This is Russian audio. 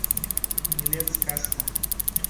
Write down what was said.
билет сказка